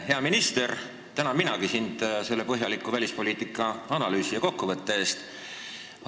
Hea minister, tänan minagi sind selle põhjaliku välispoliitika analüüsi ja kokkuvõtte eest!